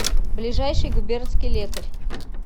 ближайший губернский лекарь